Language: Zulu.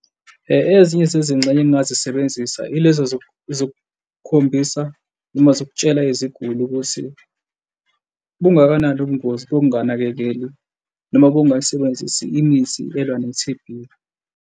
Ezinye zezingxenye engingazisebenzisa ilezi zokukhombisa noma zokutshala iziguli ukuthi bungakanani ubungozi bokunganakeleli noma bokungayisebenzisi imithi elwa ne-T_B.